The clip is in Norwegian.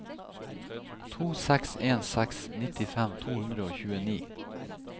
to seks en seks nittifem to hundre og tjueni